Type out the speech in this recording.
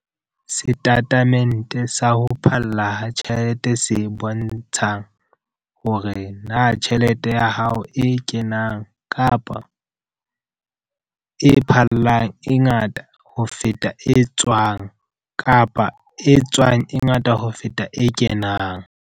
Setatemente sa ho Phalla ha Tjhelete se bontshang hore na tjhelete ya hao e kenang kapa, e phallang e ngata ho feta e tswang kapa e tswang e ngata ho feta e kenang.